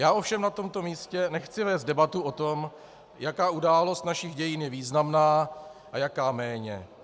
Já ovšem na tomto místě nechci vést debatu o tom, jaká událost našich dějin je významná a jaká méně.